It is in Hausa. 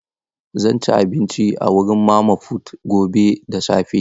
Zan ci abinci a wurin mama fut gobe da safe.